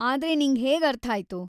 ಆದ್ರೆ ನಿಂಗ್ ಹೇಗರ್ಥಾಯ್ತು?